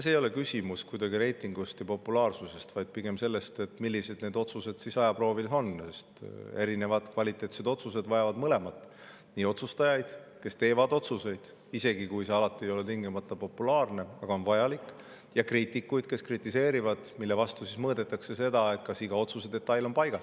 Küsimus ei ole kuidagi reitingus ja populaarsuses, vaid pigem selles, millised need otsused siis ajaproovil on, sest kvaliteetsed otsused vajavad mõlemaid, nii otsustajaid, kes teevad otsuseid, isegi kui need ei ole alati tingimata populaarsed, aga on vajalikud, ja kriitikuid, kes kritiseerivad, millest, kas otsuse iga detail on paigas.